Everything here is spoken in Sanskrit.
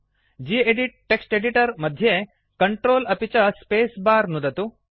गेदित् टेक्स्ट् एडिटर मध्ये CTRL अपि च स्पेस् बर नुदतु